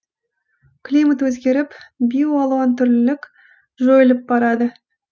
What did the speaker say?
климат өзгеріп биоалуантүрлілік жойылып барады